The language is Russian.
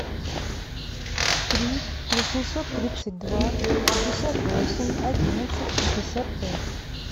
три восемьсот тридцать два пятьдесят восемь одиннадцать шестьдесят пять